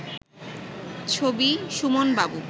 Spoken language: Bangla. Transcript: ছবি: সুমন বাবু